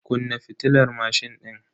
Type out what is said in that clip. Kunna fitilar mashin din.